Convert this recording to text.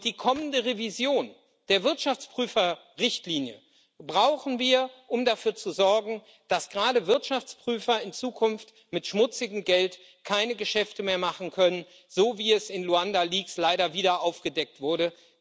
Die kommende Revision der Wirtschaftsprüferrichtlinie brauchen wir, um dafür zu sorgen, dass gerade Wirtschaftsprüfer in Zukunft mit schmutzigem Geld keine Geschäfte mehr machen können, so wie es in den Luanda Leaks leider wieder aufgedeckt wurde.